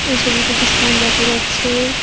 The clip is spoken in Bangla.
এই ছবিটিতে একটি স্কুল দেখা যাচ্ছে।